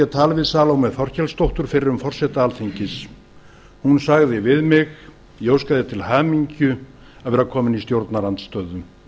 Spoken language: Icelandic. tal við salome þorkelsdóttur fyrrum forseta alþingis hún sagði við mig ég óska þér til hamingju að vera kominn í stjórnarandstöðu